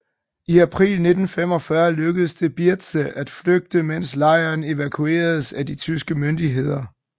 I april 1945 lykkedes det Birze at flygte mens lejren evakueredes af de tyske myndigheder